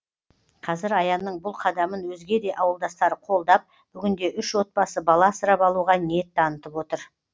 қазір аянның бұл қадамын өзге де ауылдастары қолдап бүгінде үш отбасы бала асырап алуға ниет танытып отыр